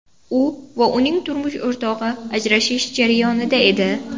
U va uning turmush o‘rtog‘i ajrashish jarayonida edi.